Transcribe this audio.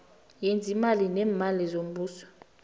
yezeemali neemali zombuso